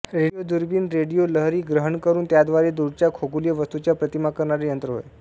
radio दुर्बीण हे radio लहरी ग्रहण करून त्याद्वारे दूरच्या खगोलीय वस्तूंच्या प्रतिमा करणारे यंत्र होय